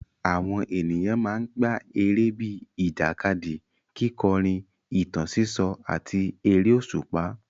Àwọn ènìyàn máa ń gbá eré bíi ìjàkadì, kíkọrin, ìtàn sísọ, àti eré òṣùpá.